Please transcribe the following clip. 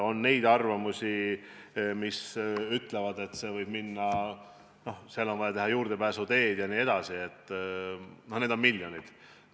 On neid, kes ütlevad, et see võib maksma minna – vaja on teha juurdepääsuteed jne – miljoneid.